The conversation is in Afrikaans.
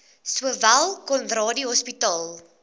sowel conradie hospitaal